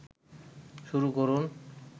শুরু করুন